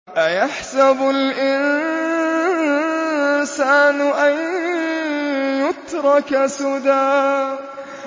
أَيَحْسَبُ الْإِنسَانُ أَن يُتْرَكَ سُدًى